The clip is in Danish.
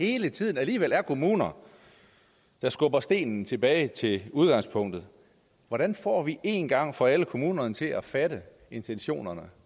hele tiden kommuner der skubber stenen tilbage til udgangspunktet hvordan får vi en gang for alle kommunerne til at fatte intentionerne